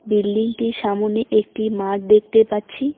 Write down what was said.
বিল্ডিংটির সামোনে একটি মাঠ দেখতে পাচ্ছি।